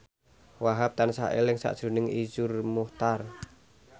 Wahhab tansah eling sakjroning Iszur Muchtar